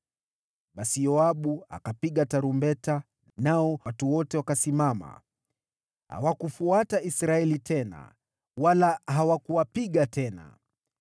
Basi Yoabu akapiga tarumbeta, nao watu wote wakasimama, hawakuwafuata Israeli tena, wala hawakuwapiga tena.